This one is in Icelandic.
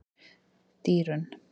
Dýrunn